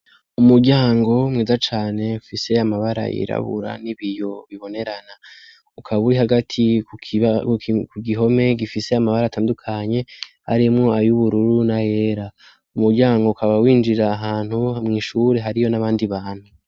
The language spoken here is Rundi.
Umuryango mweza cane fiseyo amabara yirabura n'ibiyo bibonerana ukaba uri hagati ku gihome gifise amabara atandukanye arimwo ayoubururu na era umuryango ukaba winjira ahantu mw'ishure hari yo n'abandi bantu.